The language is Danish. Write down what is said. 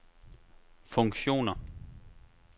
funktioner